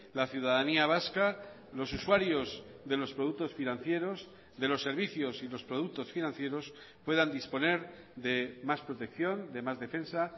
la ciudadanía vasca los usuarios de los productos financieros de los servicios y los productos financieros puedan disponer de más protección de más defensa